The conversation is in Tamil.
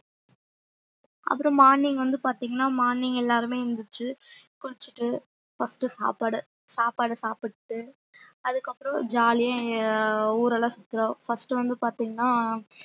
அப்புறம் morning வந்து பாத்தீங்கன்னா morning எல்லாருமே எந்திரிச்சு குளிச்சிட்டு first சாப்பாடு சாப்பாடு சாப்பிட்டு அதுக்கு அப்புறம் jolly யா ஊரெல்லாம் சுத்துறோம் first வந்து பாத்தீங்கன்னா